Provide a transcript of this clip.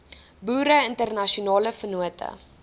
boere internasionale vennote